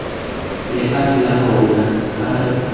lefatshe la rona fa re